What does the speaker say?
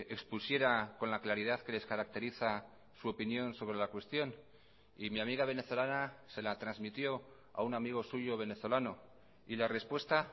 expusiera con la claridad que les caracteriza su opinión sobre la cuestión y mi amiga venezolana se la transmitió a un amigo suyo venezolano y la respuesta